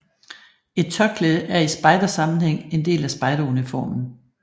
Et tørklæde er i spejdersammenhæng en del af spejderuniformen